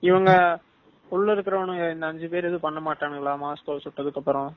இவனுங்க உள்ள இருக்குற இந்த அஞ்சு பேர் ஒன்னும் பண்ணமாட்டானுங்களா மஸ்கொவ்வ சுட்டதுகாப்பரம்